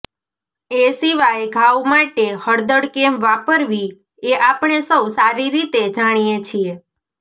એ સિવાય ઘાવ માટે હળદર કેમ વાપરવી એ આપણે સૌ સારી રીતે જાણીએ છીએ